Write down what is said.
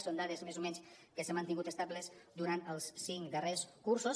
són dades més o menys que s’han mantingut estables durant els cinc darrers cursos